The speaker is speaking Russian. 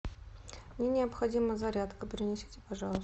мне необходима зарядка принесите пожалуйста